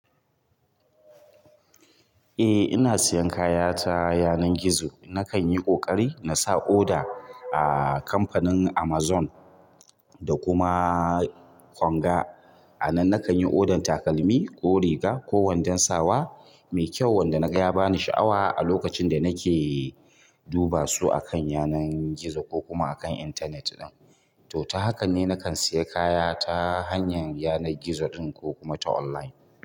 Eh ina siyan kaya ta yanan gizo. Nakan yi ƙoƙari na sa order a kamfanin Amazon da kuma Konga. A nan nakan yi odan takalmi ko riga ko wadon sawa mai kyau wanda naga ya bani sha'awa a lokacin da nake duba su akan yanar gizo ko kuma akan intanet ɗin. To, ta hakan ne nakan siya kaya ta hanyar yanar gizo ɗin ko kuma ta online.